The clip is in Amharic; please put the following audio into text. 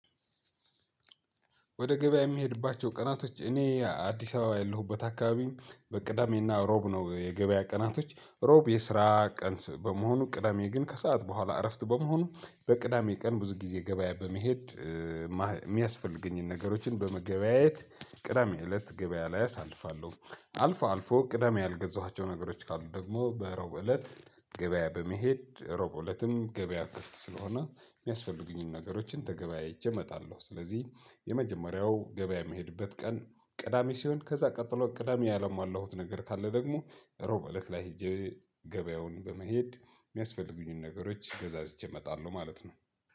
ወደ ገበያ የሚሄድባቸው ቀናቶች እኔ አዲስ አበባ ያለሁበት አካባቢ በቅዳሜና አሮብ ነው የገበያ ቀናቶች ሮብ የስራ ቀንስ በመሆኑ ቅዳሜ ግን ከሰአት በኋላ እረፍት በመሆኑ በቅዳሜ ቀን ብዙ ጊዜ ገበያ በመሄድ የሚያስፈልገኝን ነገሮችን በመገበያየት ቅዳሜ እለት ገበያ ላይ አሳልፋለሁ። አልፎ አልፎ ቅዳሜ ያልገዛኋቸው ነገሮች ካሉ ደግሞ በሮብ እለት ገበያ በመሄድ ሮብለትም ገበያ ክፍት ስለሆነ የሚያስፈልጉኝን ነገሮችን ተገበያይቼ እመጣለሁ። ስለዚህ የመጀመሪያው ገበያ የሚሄድበት ቀን ቅዳሜ ሲሆን ከዛ ቀጥሎ ቅዳሜ ያላሟሁት ነገር ካለ ደግሞ ሮብ እለት ላይ ሄጄ ገበያውን በመሄድ የሚያስፈልጉኝን ነገሮች ገዛዝቼ እመጣለሁ። ማለት ነው